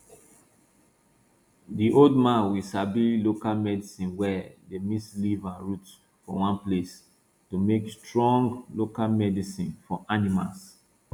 di old man we sabi local medicine well dey mix leaf and root for one place to make strong local medicine for animals